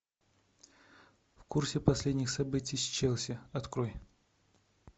в курсе последних событий с челси открой